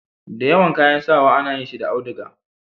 da yawan kayan sawa a na yin shi da auduga